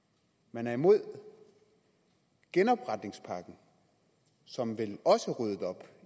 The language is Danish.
man er imod genopretningspakken som vel også ryddede op